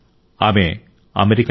ఆమె అమెరికన్